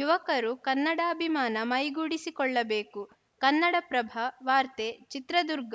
ಯುವಕರು ಕನ್ನಡಾಭಿಮಾನ ಮೈಗೂಡಿಸಿಕೊಳ್ಳಬೇಕು ಕನ್ನಡಪ್ರಭ ವಾರ್ತೆ ಚಿತ್ರದುರ್ಗ